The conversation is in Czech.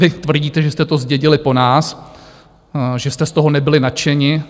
Vy tvrdíte, že jste to zdědili po nás, že jste z toho nebyli nadšení.